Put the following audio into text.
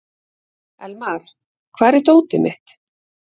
Elmar, hvar er dótið mitt?